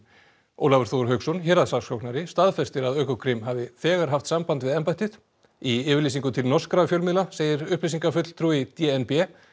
Ólafur Þór Hauksson héraðssaksóknari staðfestir að Ökokrim hafi þegar haft samband við embættið í yfirlýsingu til norskra fjölmiðla segir upplýsingafulltrúi d n b